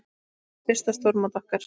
Þetta er fyrsta stórmót okkar.